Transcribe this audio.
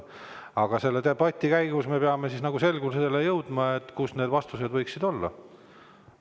Aga selle debati käigus me peame selgusele jõudma, kus need vastused võiksid olla.